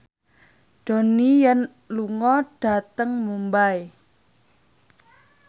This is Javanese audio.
Donnie Yan lunga dhateng Mumbai